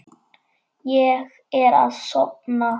Ég er að sofna.